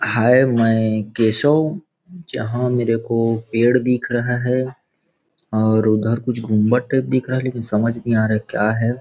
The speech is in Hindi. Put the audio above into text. हाय मैं केशव जहाँं मेरे को पेड़ दिख रहा है और उधर कुछ गुंबद टाइप दिख रहा है लेकिन समझ नहीं आ रहा है क्या है।